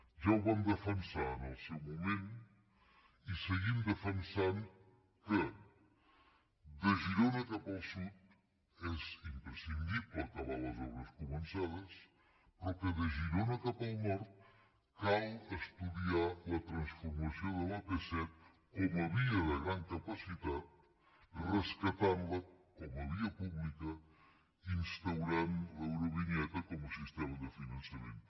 ja ho vam defensar en el seu moment i seguim defensant que de girona cap al sud és imprescindible acabar les obres començades però que de girona cap al nord cal estudiar la transformació de l’ap set com a via de gran capacitat rescatant la com a via pública instaurant l’eurovinyeta com a sistema de finançament